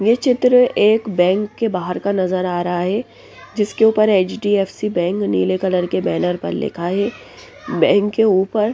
ये चित्र एक बैंक के बाहर का नजर आ रहा है जिसके ऊपर एच_डी_एफ_सी बैंक नीले कलर के बैनर पर लिखा है बैंक के ऊपर--